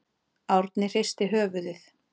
Árni hristi höfuðið.